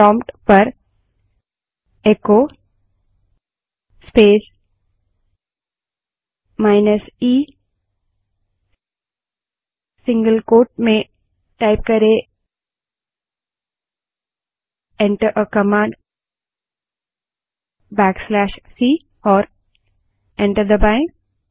prompt पर echo space minus E single quote में type करें backslash C command enter करें और एंटर दबायें